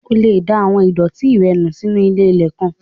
O lè da àwọn ìdọ̀ọ̀tí rẹ nù sínu ilé-ilẹ̀ kan